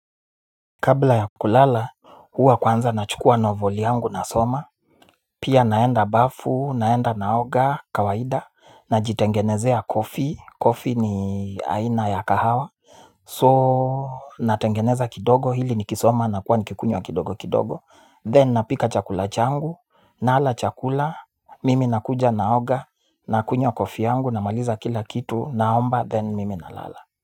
Kabla ya kulala, huwa kwanza nachukua novoli yangu nasoma. Pia naenda bafu, naenda naoga, kawaida. Najitengenezea koffie, koffie ni aina ya kahawa So, natengeneza kidogo hili nikisoma nakuwa nikikunywa kidogo kidogo Then napika chakula changu, nala chakula. Mimi nakuja naoga, nakunywa koffie yangu, namaliza kila kitu, naomba, then mimi nalala.